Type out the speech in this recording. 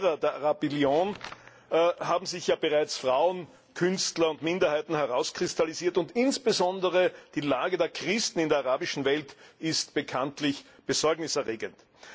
Als Verlierer der Arabellion haben sich ja bereits Frauen, Künstler und Minderheiten herauskristallisiert, und insbesondere die Lage der Christen in der arabischen Welt ist bekanntlich besorgniserregend.